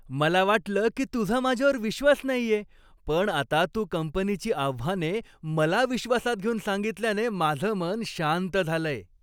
मला वाटलं की तुझा माझ्यावर विश्वास नाहीये, पण आता तू कंपनीची आव्हाने मला विश्वासात घेऊन सांगितल्याने माझं मन शांत झालंय.